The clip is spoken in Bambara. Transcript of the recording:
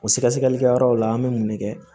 O sɛgɛsɛgɛlikɛyɔrɔ la an bɛ mun ne kɛ